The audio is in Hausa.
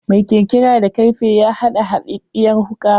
Mai kirkira da karfe ya haɗa haɗaɗɗiyar wuka.